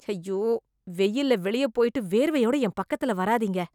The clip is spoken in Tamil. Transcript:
ஐயோ, வெயில்ல வெளியே போய்ட்டு, வேர்வையோட என் பக்கத்துல வராதீங்க...